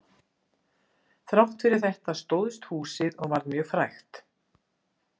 Þrátt fyrir þetta stóðst húsið og varð mjög frægt.